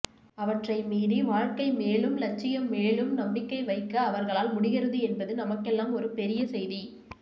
அவற்றை மீறி வாழ்க்கைமேலும் இலட்சியம் மேலும் நம்பிக்கை வைக்க் அவர்களால் முடிகிறது என்பது நமக்கெல்லாம் ஒரு பெரிய செய்தி